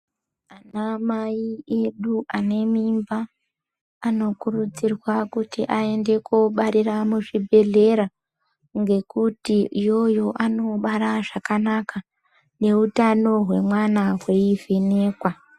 Ana mai edu anemimba anokurudzirwa kuti aende kobarira muzvibhedhlera ngekuti iyoyo anonobara zvakanaka neutano hwemwana hweivhenekwa